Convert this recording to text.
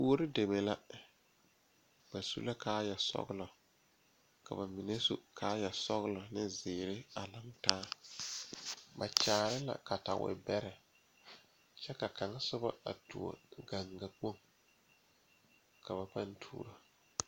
Kuori deme la ba su la kaayɛ sɔglɔ ka ba mine su kaayɛ sɔglɔ ne zeere a laŋtaa ba kyaare la katawibɛrɛ kyɛ ka kaŋ sobɔ a tuo gaŋgakpoŋ ka ba paŋ tuuro.